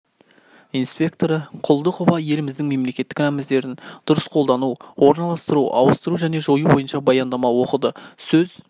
инспекторы құлдықова еліміздің мемлекеттік рәміздерін дұрыс қолдану орналастыру ауыстыру және жою бойынша баяндама оқыды сөз